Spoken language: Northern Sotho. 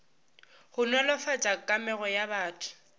go nolofatša kamego ya batho